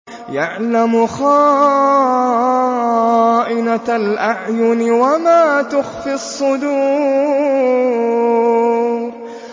يَعْلَمُ خَائِنَةَ الْأَعْيُنِ وَمَا تُخْفِي الصُّدُورُ